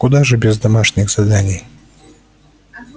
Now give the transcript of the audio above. куда же без домашних заданий